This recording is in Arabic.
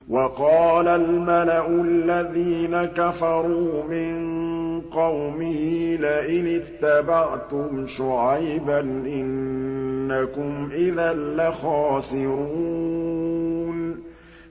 وَقَالَ الْمَلَأُ الَّذِينَ كَفَرُوا مِن قَوْمِهِ لَئِنِ اتَّبَعْتُمْ شُعَيْبًا إِنَّكُمْ إِذًا لَّخَاسِرُونَ